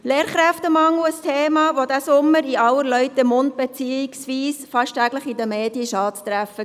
Lehrkräftemangel ist ein Thema, das diesen Sommer in aller Leute Munde beziehungsweise fast täglich in den Medien präsent war.